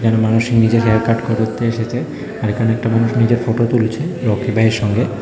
মানুষ নিজের হেয়ারকাট করতে এসেছে আর এখানে একটা মানুষ নিজের ফটো তুলছে রকি ভাইয়ের সঙ্গে।